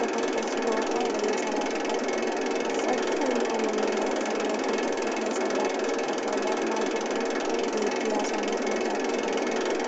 ጥቁር ቅርጽ በውሃው ላይ ይንጸባረቃል፤ ጸጥተኛው ወለል ላይ ረዣዥም፣ ጥቁር ነጸብራቆች ይፈጥራል። አጥማጁ በእጁ የአሳ ማጥመጃ ክር ይዟል።